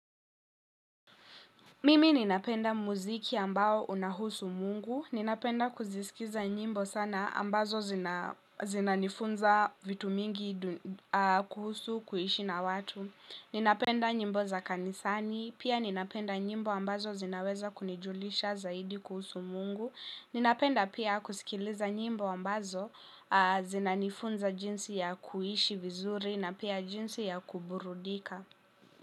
Mimi ninapenda muziki ambao unahusu mungu, ninapenda kuzisikiza nyimbo sana ambazo zinanifunza vitu mingi kuhusu kuishi na watu. Ninapenda nyimbo za kanisani, pia ninapenda nyimbo ambazo zinaweza kunijulisha zaidi kuhusu mungu, ninapenda pia kusikiliza nyimbo ambazo zinanifunza jinsi ya kuishi vizuri na pia jinsi ya kuburudika.